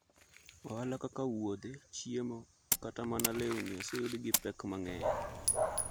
Ohala kaka wuothe, chiemo, kata mana lewni oseyudo gi pek mang’eny.